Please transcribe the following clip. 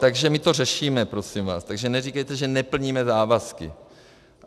Takže my to řešíme, prosím vás, Takže neříkejte, že neplníme závazky.